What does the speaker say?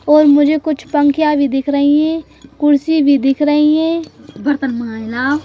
और मुझे कुछ पंखियाँ भी दिख रही हैं कुर्सी भी दिख रही हैं बर्तन माँज लाओ।